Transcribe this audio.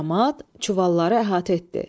Camaat çuvalları əhatə etdi.